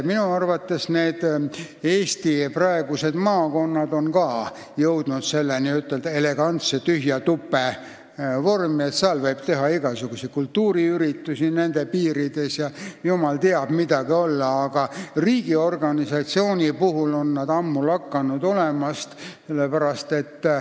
Minu arvates on ka Eesti praegused maakonnad jõudnud n-ö elegantse tühja tupe vormi, nende piirides võib teha igasuguseid kultuuriüritusi ja jumal teab mida, aga riigiorganisatsioonina on nad ammu lakanud olemast.